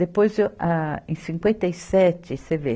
Depois eu, âh em cinquenta e sete, você vê